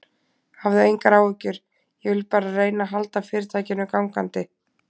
Hafðu engar áhyggjur, ég vil bara reyna að halda fyrirtækinu gangandi.